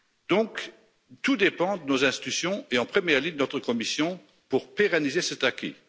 Donc, tout dépend de nos institutions, et en première ligne de notre Commission, pour pérenniser cet acquis.